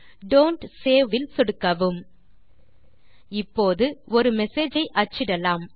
don't save இல் சொடுக்கவும் இப்போது ஒரு மெசேஜ் ஐ அச்சிடலாம்